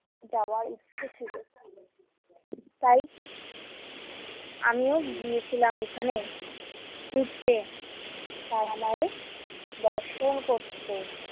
যাওয়ার ইচ্ছে ছিল তাই আমিও গিয়েছিলাম এখানে ঘুরতে তারামায়ের দর্শন করতে।